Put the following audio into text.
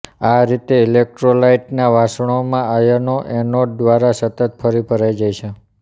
આ રીતે ઇલેક્ટ્રોલાઇટના વાસણમાં આયનો એનોડ દ્વારા સતત ફરી ભરાઈ જાય છે